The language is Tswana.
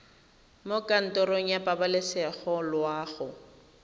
mo kantorong ya pabalesego loago